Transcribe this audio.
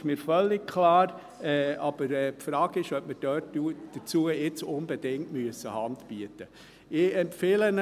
Das ist mir völlig klar, aber die Frage ist, ob wir dazu jetzt unbedingt Hand bieten müssen.